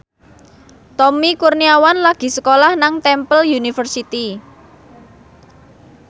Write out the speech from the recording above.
Tommy Kurniawan lagi sekolah nang Temple University